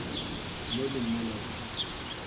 mo le mola o tla